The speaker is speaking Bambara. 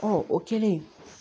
o kɛlen